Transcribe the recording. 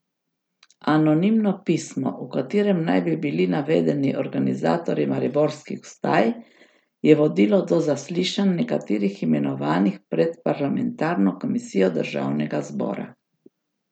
Anonimno pismo, v katerem naj bi bili navedeni organizatorji mariborskih vstaj, je vodilo do zaslišanj nekaterih imenovanih pred parlamentarno komisijo državnega zbora.